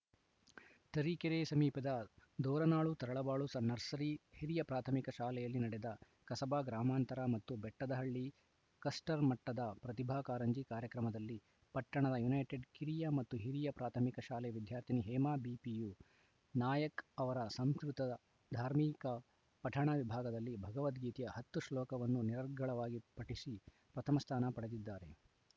ತರೀಕೆರೆ ಸಮೀಪದ ದೋರನಾಳು ತರಳಬಾಳು ನರ್ಸರಿ ಹಿರಿಯ ಪ್ರಾಥಮಿಕ ಶಾಲೆಯಲ್ಲಿ ನಡೆದ ಕಸಬಾ ಗ್ರಾಮಾಂತರ ಮತ್ತು ಬೆಟ್ಟದಹಳ್ಳಿ ಕಸ್ಟರ್‌ ಮಟ್ಟದ ಪ್ರತಿಭಾ ಕಾರಂಜಿ ಕಾರ್ಯಕ್ರಮದಲ್ಲಿ ಪಟ್ಟಣದ ಯುನೈಟೆಡ್‌ ಕಿರಿಯ ಮತ್ತು ಹಿರಿಯ ಪ್ರಾಥಮಿಕ ಶಾಲೆ ವಿದ್ಯಾರ್ಥಿನಿ ಹೇಮಾ ಬಿಪಿಯು ನಾಯ್ಕ್ ಅವರು ಸಂಸ್ಕೃತ ಧಾರ್ಮಿಕ ಪಠಣ ವಿಭಾಗದಲ್ಲಿ ಭಗವದ್ಗೀತೆಯ ಹತ್ತು ಶ್ಲೋಕವನ್ನು ನಿರರ್ಗಳವಾಗಿ ಪಠಿಸಿ ಪ್ರಥಮ ಸ್ಥಾನ ಪಡೆದಿದ್ದಾರೆ